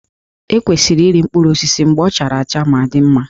E kwesịrị iri mkpụrụ osisi mgbe ọ chara acha ma dị mma